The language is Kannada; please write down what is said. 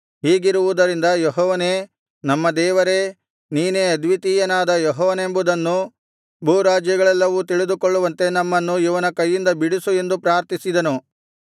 ಹೀಗಿರುವುದರಿಂದ ಯೆಹೋವನೇ ನಮ್ಮ ದೇವರೇ ನೀನೇ ಅದ್ವಿತೀಯನಾದ ಯೆಹೋವನೆಂಬುದನ್ನು ಭೂರಾಜ್ಯಗಳೆಲ್ಲವೂ ತಿಳಿದುಕೊಳ್ಳುವಂತೆ ನಮ್ಮನ್ನು ಇವನ ಕೈಯಿಂದ ಬಿಡಿಸು ಎಂದು ಪ್ರಾರ್ಥಿಸಿದನು